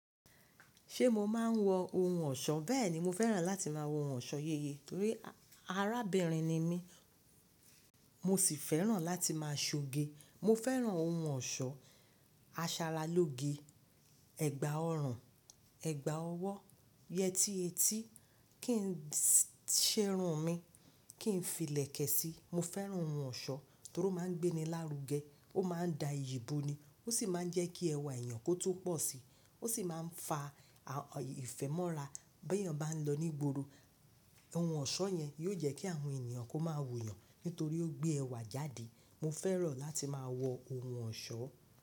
Ṣe mo maa n wọ ohun ọ̀ṣọ́? Bẹẹni, mo fẹ́ràn láti máa wọ ọ̀ṣọ́ yeye nítorí arábìnrin ni mí, mo sì fẹ́ràn láti máa ṣoge. Mo fẹ́ràn ohun ọ̀ṣọ́, aṣaralóge, ẹ̀gbà ọrùn, ẹ̀gbà ọwọ́, yẹti eti, kí n ṣerun mi, kí n fi ìlẹ̀kẹ̀ sí. Mo fẹ́ràn ohun ọ̀ṣọ́ torí o maa n gbé ni lárú gẹ, o maa n da ìyì bo ni, o sì maa n jẹ́ kí ẹwà èèyàn kó tún pọ̀ sí. O sì maa n fa ìfẹ́ mọ́ra. Bí èèyàn bá n lọ ní gboro, ohun ọ̀ṣọ́ yẹn yóò jẹ́ kí àwọn ènìyàn kó máa wo yàn nítorí ó gbé ẹwà jáde. Mo fẹ́ràn láti máa wọ ohun ọ̀ṣọ́.